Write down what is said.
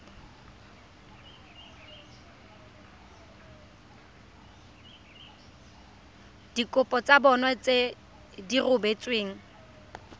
dikopo tsa bona di rebotsweng